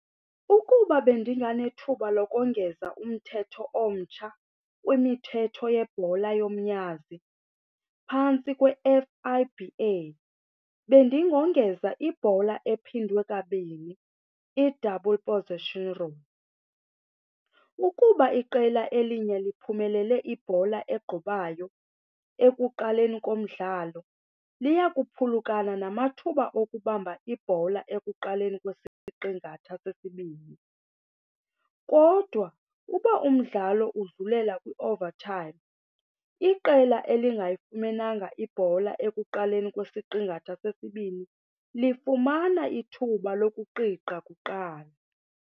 Ukuba bendinganethuba lokongeza umthetho omtsha kwimithetho yebhola yomnyazi phantsi kwe-F_I_B_A bendingongeza ibhola ephindwe kabini, i-double position rule. Ukuba iqela elinye liphumelele ibhola egqubayo ekuqaleni komdlalo liya kuphulukana namathuba okubamba ibhola ekuqaleni kwesiqingatha sesibini. Kodwa uba umdlalo udlulela kwi-overtime iqela elingayifumenanga ibhola ekuqaleni kwesiqingatha sesibini lifumana ithuba lokuqiqa kuqala.